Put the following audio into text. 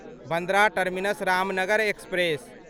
Bandra terminus Ramnagar express